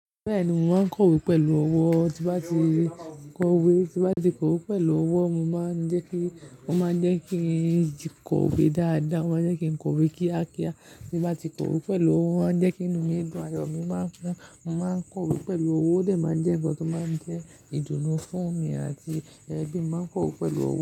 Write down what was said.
Bẹ́ẹ̀ni, mo máa ń kọ̀wé pẹ̀lú ọwọ́, tí bá ti kọ̀wé, tí bá ti kọ̀wé pẹ̀lú ọwọ́, mo máa ń jẹ́ kí, wọ́n máa ń jẹ́ kí ń kọ̀wé dáadáa, wọ́n máa ń jẹ́ kí ń kọ̀wé kíákíá. Tí bá ti kọ̀wé pẹ̀lú ọwọ́, wọ́n máa ń jẹ́ kí inú mi dùn, àyò mi máa ń kún, mo máa ń kọ̀wé pẹ̀lú ọwọ́, ó sì máa ń jẹ́ ohun tó máa ń jẹ́ ìdùnnú fún mi, àti ẹbí mi máa ń kọ̀wé pẹ̀lú ọwọ́